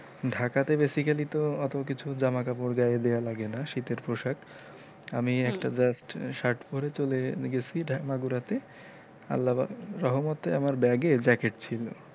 ঢাকাতে basically তো অতো কিছু জামা কাপড় গায়ে দেওয়া লাগে না শীতের পোশাক আমি একটা just shirt পরে চলে গেছি বাগুরাতে আল্লা রহমতে আমার bag এ jacket ছিলো।